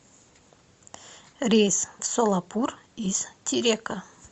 рейс в солапур из терека